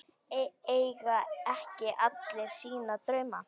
Eiga ekki allir sína drauma?